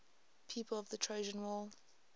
people of the trojan war